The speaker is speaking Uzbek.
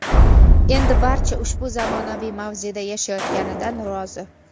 Endi barcha ushbu zamonaviy mavzeda yashayotganidan rozi.